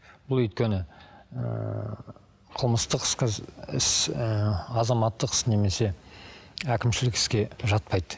бұл өйткені ыыы қылмыстық іс іс ыыы азаматтық іс немесе әкімшілік іске жатпайды